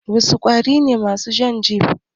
Wasu ƙwari ne masu shan jini?